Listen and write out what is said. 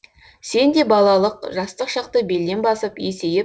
сен де балалық жастық шақты белден басып есейіп